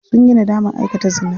Sunyi nadaman aikata zina.